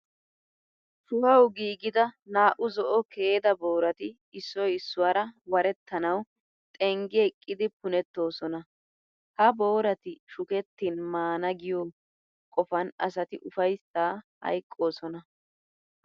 Shuhawu giigida naa"u zo'o keeda booraati issoy issuwara warettanawu xenggi eqqidi punettoosona. Ha boorati shukettin mana giyo qofan asati ufayssaa hayqqoosona.